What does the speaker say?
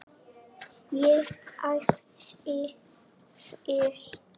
Ég æfði vel.